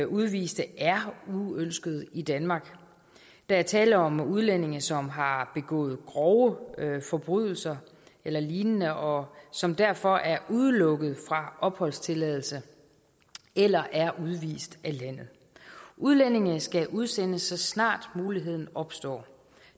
udviste er uønsket i danmark der er tale om udlændinge som har begået grove forbrydelser eller lignende og som derfor er udelukket fra opholdstilladelse eller er udvist af landet udlændingene skal udsendes så snart muligheden opstår